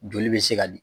Joli bɛ se ka di